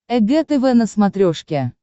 эг тв на смотрешке